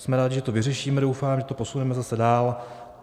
Jsme rádi, že to vyřešíme, doufám, že to posuneme zase dál.